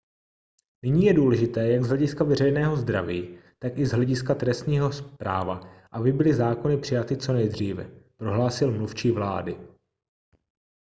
nyní je důležité jak z hlediska veřejného zdraví tak i z hlediska trestního práva aby byly zákony přijaty co nejdříve prohlásil mluvčí vlády